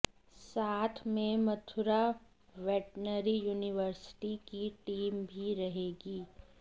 साथ में Mathura veterinary university की टीम भी रहेगी